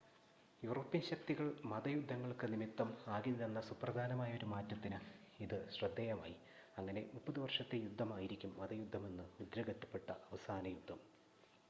European ശക്തികൾ മത യുദ്ധങ്ങൾക്ക് നിമിത്തം ആകില്ലെന്ന സുപ്രധാനമായ ഒരു മാറ്റത്തിന് ഇത് ശ്രദ്ധേയമായി അങ്ങനെ മുപ്പത് വർഷത്തെ യുദ്ധം ആയിരിക്കും മതയുദ്ധമെന്ന് മുദ്രകുത്തപ്പെട്ട അവസാന യുദ്ധം